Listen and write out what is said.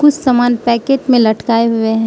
समान पैकेट में लटकाए हुए--